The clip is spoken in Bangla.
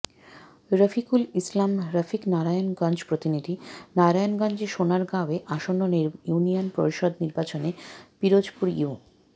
রফিকুল ইসলাম রফিক নারায়ণগঞ্জ প্রতিনিধিঃ নারায়ণগঞ্জের সোনারগাঁওয়ে আসন্ন ইউনিয়ন পরিষদ নির্বাচনে পিরোজপুর ইউ